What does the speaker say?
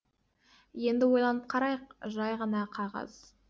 енді ойланып қарайық жай ғана қағаз